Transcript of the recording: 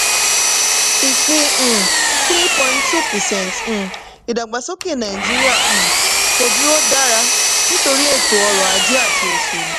ìpín um three point two percent um ìdàgbàsókè nàìjíríà um kò dúró dára nítorí ètò ọrọ̀-ajé àti òṣèlú.